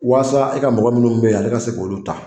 Waasa e ka mɔgɔ munnu be yan ale ka se k'olu ta